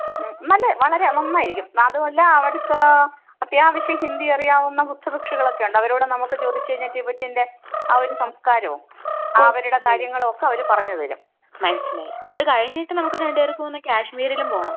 മമ്. വളരെ നന്നായിരിക്കും. അതുമല്ല അവിടെ അത്യാവശ്യം ഹിന്ദി അറിയാവുന്ന ബുദ്ധ ഭിക്ഷുക്കള്‍ ഒക്കെയുണ്ട്. അവരോട് നമുക്ക് ചോദിച്ചു കഴിഞ്ഞാൽ ടിബെറ്റിന്റെ ആ ഒരു സംസ്കാരവും അവരുടെ കാര്യങ്ങളും ഒക്കെ അവർ പറഞ്ഞു തരും. മനസ്സിലായി അത് കഴിഞ്ഞിട്ട് നമുക്ക് രണ്ട് പേർക്കും ഒന്ന് കാശ്മീരിലും പോണം.